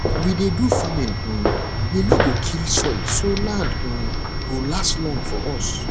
we dey do farming um wey no go kill soil so land um go last long for us